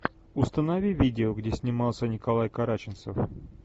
установи видео где снимался николай караченцов